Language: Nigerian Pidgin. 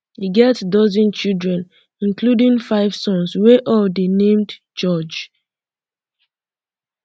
e get um dozen children including five sons wey all dey named george